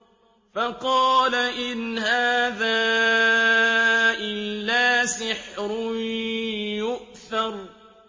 فَقَالَ إِنْ هَٰذَا إِلَّا سِحْرٌ يُؤْثَرُ